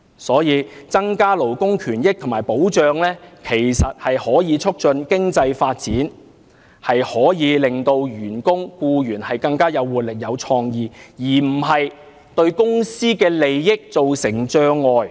所以，增加勞工權益和保障，可以促進經濟發展，令員工和僱員更有活力和創意，而不會對公司的利益造成障礙。